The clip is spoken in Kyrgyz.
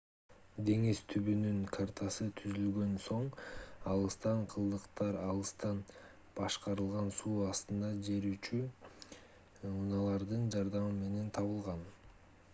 деңиз түбүнүн картасы түзүлгөн соң алыстан калдыктар алыстан башкарылган суу астында жүрүүчу унаалардын жардамы менен табылган